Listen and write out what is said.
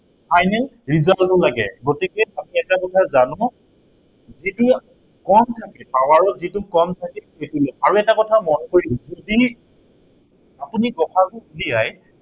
final result ও লাগে। গতিকে আমি এটা কথা জানো এইটো কম থাকে। power ত যিটো কম থাকে সেইটো। আৰু এটা কথা মন কৰিব যদি আপুনি গ সা গু উলিয়াই